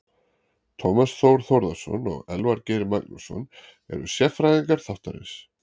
Tómas Þór Þórðarson og Elvar Geir Magnússon eru sérfræðingar þáttarins.